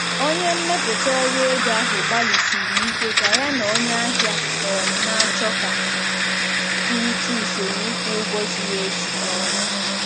Onye mmepụta ọrụ ego ahụ gbalịsiri ike ka ya na onye ahịa um na-achọ ka kwurịta usoro ịkwụ ụgwọ ziri ezi. um